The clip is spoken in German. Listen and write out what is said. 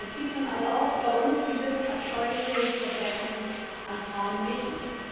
Es gibt nun also auch bei uns dieses abscheuliche Verbrechen an Frauen und Mädchen.